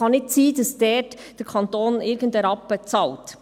Es kann nicht sein, dass der Kanton irgendeinen Rappen daran bezahlt.